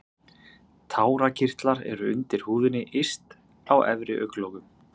Tárakirtlar eru undir húðinni yst á efri augnlokum.